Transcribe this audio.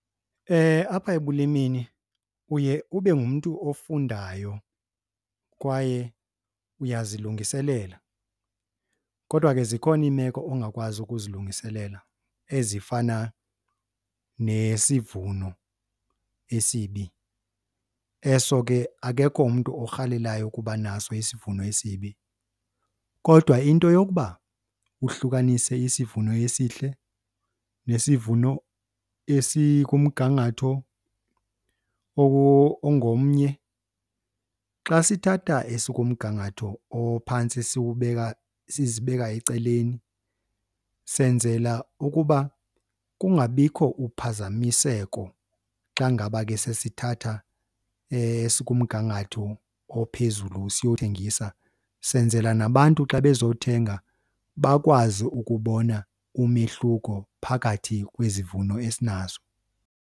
Apha ekulimeni uye ube ngumntu ofundayo kwaye uyazilungiselela kodwa ke zikhona iimeko ongakwazi ukuzilungiselela ezifana nesivuno esibi. Eso ke akekho umntu orhalelayo ukuba naso isivuno esibi. Kodwa into yokuba uhlukanise isivuno esihle nesivuno esikumgangatho ongomnye. Xa sithatha esikumgangatho ophantsi siwubeka, sizibeka ecaleni, senzela ukuba kungabikho uphazamiseko xa ngaba ke sesithatha esikumgangatho ophezulu siyothengisa. Senzela nabantu xa bezothenga bakwazi ukubona umehluko phakathi kwezivuno esinazo.